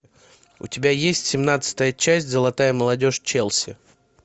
у тебя есть семнадцатая часть золотая молодежь челси